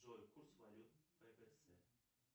джой курс валют